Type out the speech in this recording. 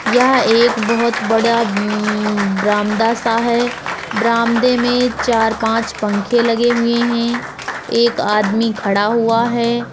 यह एक बहुत बड़ा म्म् बरामदा सा है बरामदे में चार पाँच पंखे लगे हुए हैं एक आदमी खड़ा हुआ है।